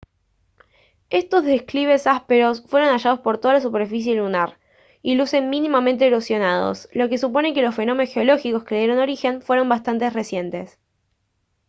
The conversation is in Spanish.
estos declives ásperos fueron hallados por toda la superficie lunar y lucen mínimamente erosionados lo que supone que los fenómenos geológicos que le dieron origen fueron bastante recientes